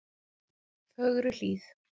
Fögruhlíð